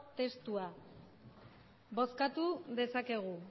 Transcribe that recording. testua bozkatu dezakegu